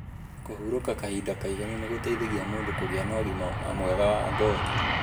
Kũhurúka kahinda kaĩganu nĩ gũteithagia mũndũ kúgía na úgima mwega wa ngothi.